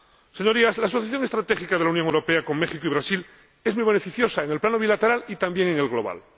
Señorías, la asociación estratégica de la Unión Europea con México y Brasil es muy beneficiosa en el plano bilateral y también en el global.